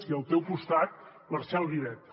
i al teu costat marcel vivet